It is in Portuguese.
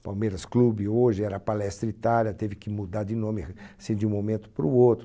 Palmeiras Clube hoje era a Palestra Itália, teve que mudar de nome, assim, de um momento para o outro.